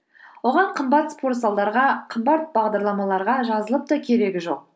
оған қымбат спортзалдарға қымбат бағдарламаларға жазылып та керегі жоқ